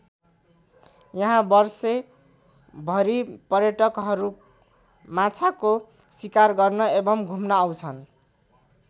यहाँ वर्षै भरि पर्यटकहरू माछाको शिकार गर्न एवं घुम्न आउँछन्।